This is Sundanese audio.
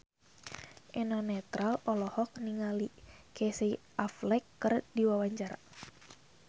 Eno Netral olohok ningali Casey Affleck keur diwawancara